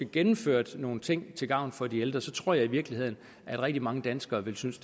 gennemført nogle ting til gavn for de ældre tror jeg i virkeligheden at rigtig mange danskere ville synes